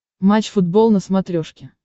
матч футбол на смотрешке